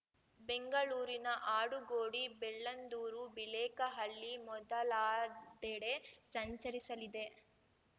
ಬೆಂಗಳೂರಿನ ಆಡುಗೋಡಿ ಬೆಳ್ಳಂದೂರು ಬಿಳೇಕಹಳ್ಳಿ ಮೊದಲಾದೆಡೆ ಸಂಚರಿಸಲಿದೆ